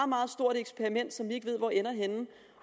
meget stort eksperiment som vi ikke ved hvor ender